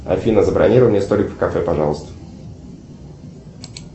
афина забронируй мне столик в кафе пожалуйста